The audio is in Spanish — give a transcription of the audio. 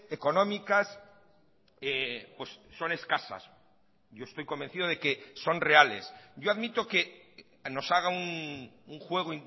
económicas son escasas yo estoy convencido de que son reales yo admito que nos haga un juego